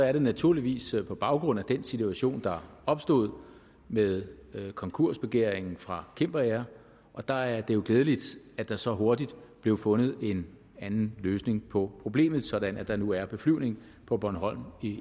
er det naturligvis på baggrund af den situation der opstod med konkursbegæringen fra cimber air og der er det glædeligt at der så hurtigt blev fundet en anden løsning på problemet sådan at der nu er beflyvning på bornholm